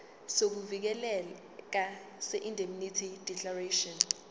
sokuvikeleka seindemnity declaration